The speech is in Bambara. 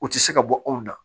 U tɛ se ka bɔ anw na